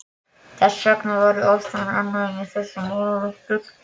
Þess vegna var ég eftir ástæðum ánægður með þessar málalyktir.